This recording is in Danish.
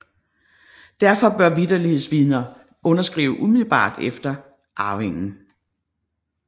Derfor bør vitterlighedsvidnerne underskrive umiddelbart efter arvingen